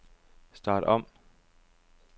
start om